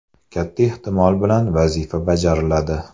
Katta ehtimol bilan, vazifa bajariladi!